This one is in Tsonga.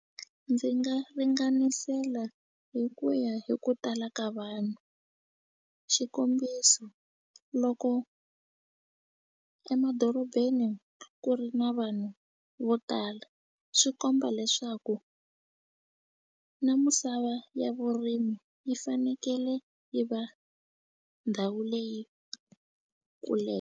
Ndzi nga ringanisela hi ku ya hi ku tala ka vanhu xikombiso loko emadorobeni ku ri na vanhu vo tala swi komba leswaku na misava ya vurimi yi fanekele yi va ndhawu leyi .